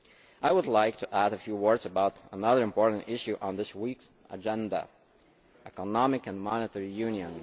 I would like to add a few words about another important issue on this week's agenda economic and monetary union.